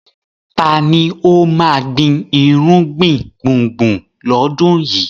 Ta ni ó máa gbin irúgbìn gbùngbùn lọ́dún yìí?